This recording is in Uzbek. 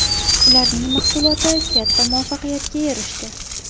Ularning mahsuloti katta muvaffaqiyatga erishdi.